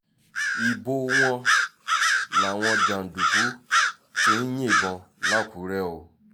ibo wọ́n làwọn jàǹdùkú ti ń yìnbọn làkúrè o